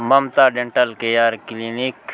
Mamata dental care clinic --